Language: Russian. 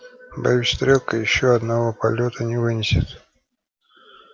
боюсь стрелка ещё одного полёта не вынесет